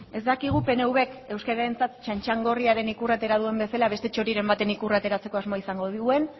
ez dakigu pnvk euskararentzat txantxangorriaren ikurra atera duen bezala beste txoriren baten ikurra ateratzeko asmoa izango duen